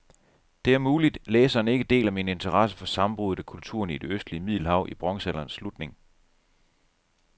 Det er muligt, læseren ikke deler min interesse for sammenbruddet af kulturerne i det østlige middelhav i bronzealderens slutning.